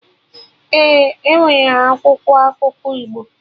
Ee, enwere akwụkwọ akụkọ Igbo